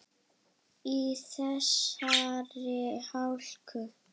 Í þessari hálku?